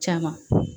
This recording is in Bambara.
Caman